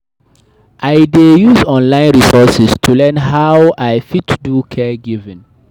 I dey use online resources to learn how I fit do caregiving.